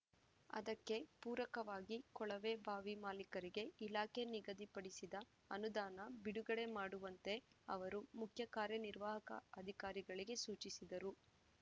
ಅದಕ್ಕೆ ಪೂರಕವಾಗಿ ಕೊಳವೆಬಾವಿ ಮಾಲೀಕರಿಗೆ ಇಲಾಖೆ ನಿಗದಿಪಡಿಸಿದ ಅನುದಾನ ಬಿಡುಗಡೆ ಮಾಡುವಂತೆ ಅವರು ಮುಖ್ಯ ಕಾರ್ಯನಿರ್ವಾಹಕ ಅಧಿಕಾರಿಗಳಿಗೆ ಸೂಚಿಸಿದರು